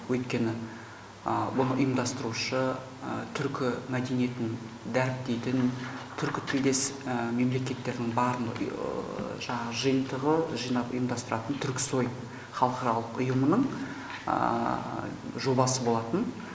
өйткені мұны ұйымдастырушы түркі мәдениетін дәріптейтін түркі тілдес мемлекеттердің барын жаңағы жиынтығы жинап ұйымдастыратын түрксой халықаралық ұйымының жобасы болатын